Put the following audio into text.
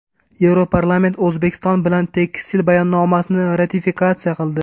Yevroparlament O‘zbekiston bilan tekstil bayonnomasini ratifikatsiya qildi.